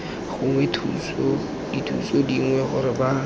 gongwe dithuso dingwe gore ba